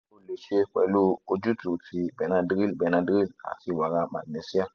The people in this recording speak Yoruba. o le ṣe pẹlu ojutu ti benadryl benadryl ati wara magnesia